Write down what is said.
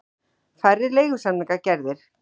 Færri leigusamningar gerðir